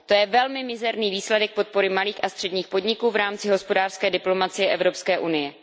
To je velmi špatný výsledek podpory malých a středních podniků v rámci hospodářské diplomacie Evropské unie.